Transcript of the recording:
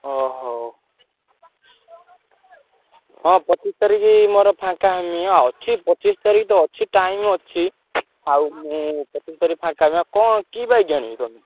ଓହୋ! ହଁ ପଚିଶି ତାରିଖ୍ ମୋର ଫାଙ୍କା ହେମି ଆଉ ଅଛି ପଚିଶି ତାରିଖ୍ ତ ଅଛି time ଅଛି। ଆଉ ମୁଁ ପଚିଶି ତାରିଖ୍ ଫାଙ୍କା ହେବି। ଆଉ କଣ କି bike ଆଣିବ ତମେ?